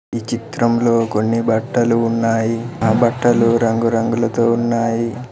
ఈ చిత్రంలో కొన్ని బట్టలు ఉన్నాయి ఆ బట్టలు రంగురంగులతో ఉన్నాయి.